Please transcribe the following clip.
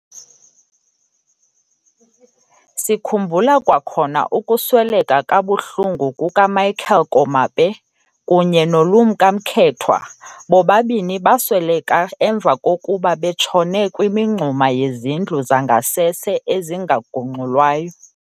Sikhumbula kwakhona ukusweleka kabuhlungu kukaMichael Komape kunye noLumka Mkethwa, bobabini basweleka emva kokuba betshone kwimingxuma yezindlu zangasese ezingagungxulwayo.